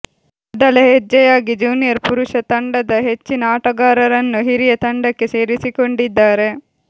ಮೊದಲ ಹೆಜ್ಜೆಯಾಗಿ ಜೂನಿಯರ್ ಪುರುಷ ತಂಡದ ಹೆಚ್ಚಿನ ಆಟಗಾರರನ್ನು ಹಿರಿಯರ ತಂಡಕ್ಕೆ ಸೇರಿಸಿಕೊಂಡಿದ್ದಾರೆ